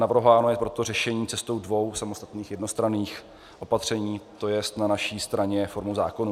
Navrhováno je proto řešení cestou dvou samostatných jednostranných opatření, to jest na naší straně formou zákona.